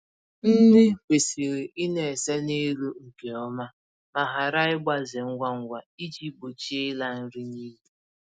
Nri kwesịrị ịna-ese n'elu nke ọma ma ghara ịgbaze ngwa ngwa iji gbochie ịla nri n'iyi